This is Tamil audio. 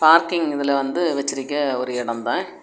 பார்க்கிங் இதுல வந்து வச்சிருக்க ஒரு இடந்தான்.